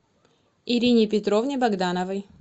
ирине петровне богдановой